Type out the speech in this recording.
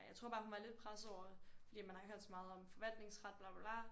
Ej jeg tror bare hun var lidt presset over fordi man har hørt så meget om forvaltningsret bla bla bla